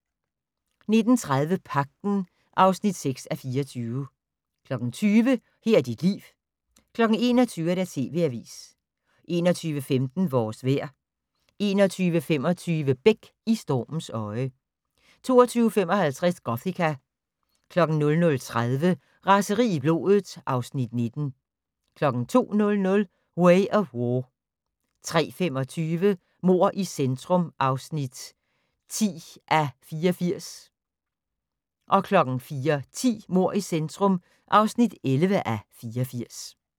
19:30: Pagten (6:24) 20:00: Her er dit liv 21:00: TV Avisen 21:15: Vores vejr 21:25: Beck: I stormens øje 22:55: Gothika 00:30: Raseri i blodet (Afs. 19) 02:00: Way of War 03:25: Mord i centrum (10:84) 04:10: Mord i centrum (11:84)